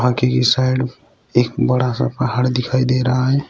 की साइड एक बड़ा सा पहाड़ दिखाई दे रहा है।